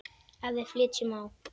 Ef við flytjum á